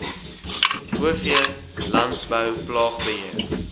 o v landbouplaagbeheer